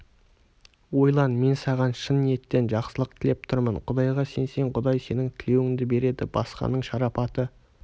ойлан мен саған шын ниеттен жақсылық тілеп тұрмын құдайға сенсең құдай сенің тілеуіңді береді басқаның шарапаты